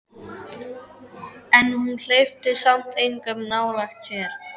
En hún hleypti samt engum nálægt sér.